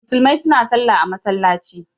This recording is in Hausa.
Musulmai suna sallah a masallaci.